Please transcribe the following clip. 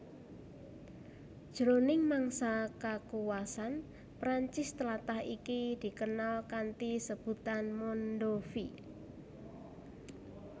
Jroning mangsa kakuwasan Prancis tlatah iki dikenal kanthi sebutan Mondovi